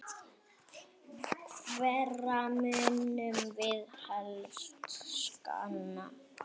Hverra munum við helst sakna?